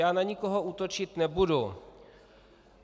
Já na nikoho útočit nebudu.